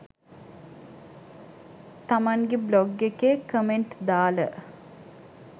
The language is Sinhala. තමන්ගේ බ්ලොග් එකේ කමෙන්ට් දාල